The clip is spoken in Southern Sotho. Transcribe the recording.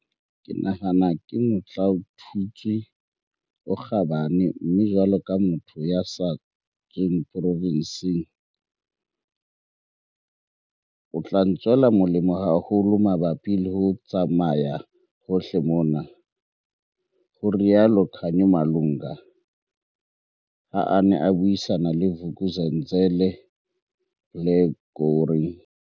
"Ke nahana ke motlaotutswe o kgabane mme jwalo ka motho ya sa tsweng porofenseng, o tla ntswela molemo haholo mabapi le ho tsamaya hohle mona," ho rialo Khanyo Malunga, ha a ne a buisana le Vuk'uzenzele, Blair gowrie.